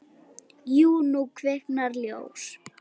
Jú, nú kviknar ljós.